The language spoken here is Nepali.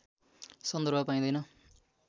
सन्दर्भ पाइँदैन